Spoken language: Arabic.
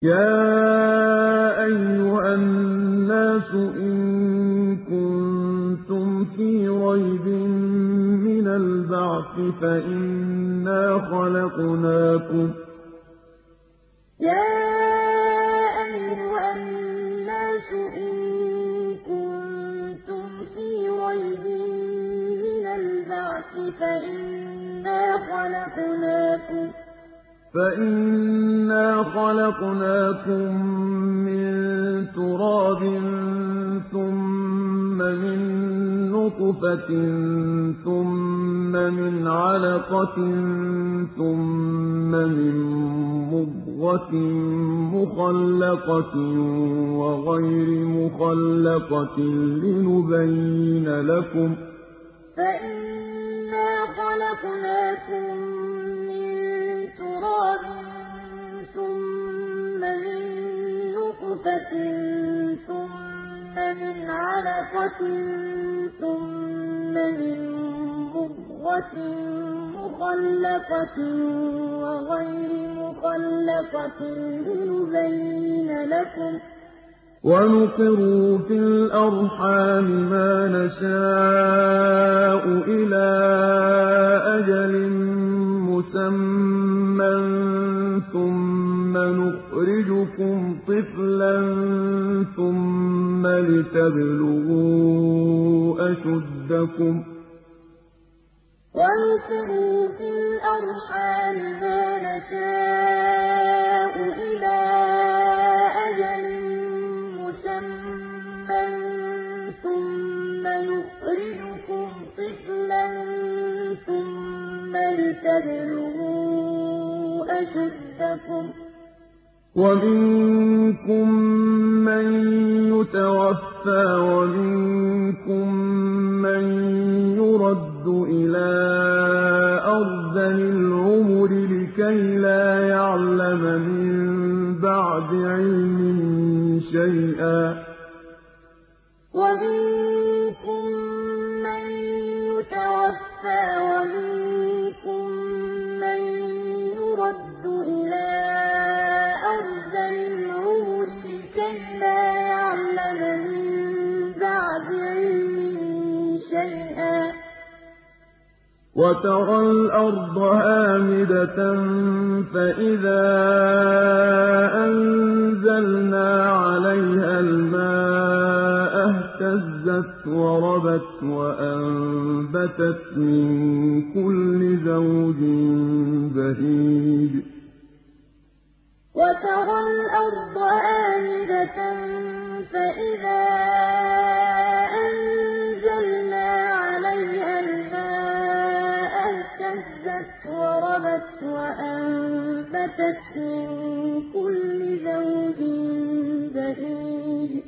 يَا أَيُّهَا النَّاسُ إِن كُنتُمْ فِي رَيْبٍ مِّنَ الْبَعْثِ فَإِنَّا خَلَقْنَاكُم مِّن تُرَابٍ ثُمَّ مِن نُّطْفَةٍ ثُمَّ مِنْ عَلَقَةٍ ثُمَّ مِن مُّضْغَةٍ مُّخَلَّقَةٍ وَغَيْرِ مُخَلَّقَةٍ لِّنُبَيِّنَ لَكُمْ ۚ وَنُقِرُّ فِي الْأَرْحَامِ مَا نَشَاءُ إِلَىٰ أَجَلٍ مُّسَمًّى ثُمَّ نُخْرِجُكُمْ طِفْلًا ثُمَّ لِتَبْلُغُوا أَشُدَّكُمْ ۖ وَمِنكُم مَّن يُتَوَفَّىٰ وَمِنكُم مَّن يُرَدُّ إِلَىٰ أَرْذَلِ الْعُمُرِ لِكَيْلَا يَعْلَمَ مِن بَعْدِ عِلْمٍ شَيْئًا ۚ وَتَرَى الْأَرْضَ هَامِدَةً فَإِذَا أَنزَلْنَا عَلَيْهَا الْمَاءَ اهْتَزَّتْ وَرَبَتْ وَأَنبَتَتْ مِن كُلِّ زَوْجٍ بَهِيجٍ يَا أَيُّهَا النَّاسُ إِن كُنتُمْ فِي رَيْبٍ مِّنَ الْبَعْثِ فَإِنَّا خَلَقْنَاكُم مِّن تُرَابٍ ثُمَّ مِن نُّطْفَةٍ ثُمَّ مِنْ عَلَقَةٍ ثُمَّ مِن مُّضْغَةٍ مُّخَلَّقَةٍ وَغَيْرِ مُخَلَّقَةٍ لِّنُبَيِّنَ لَكُمْ ۚ وَنُقِرُّ فِي الْأَرْحَامِ مَا نَشَاءُ إِلَىٰ أَجَلٍ مُّسَمًّى ثُمَّ نُخْرِجُكُمْ طِفْلًا ثُمَّ لِتَبْلُغُوا أَشُدَّكُمْ ۖ وَمِنكُم مَّن يُتَوَفَّىٰ وَمِنكُم مَّن يُرَدُّ إِلَىٰ أَرْذَلِ الْعُمُرِ لِكَيْلَا يَعْلَمَ مِن بَعْدِ عِلْمٍ شَيْئًا ۚ وَتَرَى الْأَرْضَ هَامِدَةً فَإِذَا أَنزَلْنَا عَلَيْهَا الْمَاءَ اهْتَزَّتْ وَرَبَتْ وَأَنبَتَتْ مِن كُلِّ زَوْجٍ بَهِيجٍ